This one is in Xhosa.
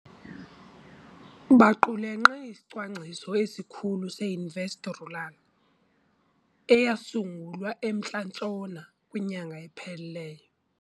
Baqulunqe iSicwangciso esiKhulu se-InvestRural, eyasungulwa eMntla Ntshona kwinyanga ephelileyo.